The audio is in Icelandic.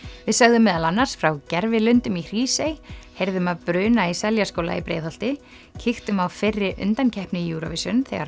við sögðum meðal annars frá gervilundum í Hrísey heyrðum af bruna í Seljaskóla í Breiðholti kíktum á fyrri undankeppni Eurovision þegar